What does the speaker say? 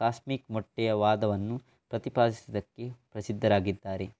cosmic ಮೊಟ್ಟೆಯ ವಾದವನ್ನು ಪ್ರತಿಪಾದಿಸಿದಕ್ಕೆ ಪ್ರಸಿದ್ಧರಾಗಿದ್ದಾರೆ